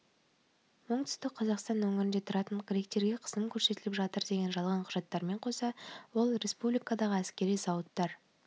оңтүстік қазақстан өңірінде тұратын гректерге қысым көрсетіліп жатыр деген жалған құжаттармен қоса ол республикадағы әскери зауыттар